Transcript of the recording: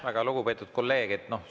Väga lugupeetud kolleeg!